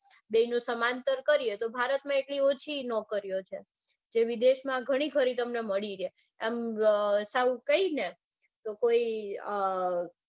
બેનું સમાંતર કરીયે તો ભારતમાં એટલી ઓછી નોકરીઓ છે જે વિદેશમાં તમને ઘણીખરી મળી રે આમ સાવ કઈને તો કોઈ અઅઅ